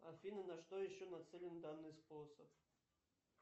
афина на что еще нацелен данный способ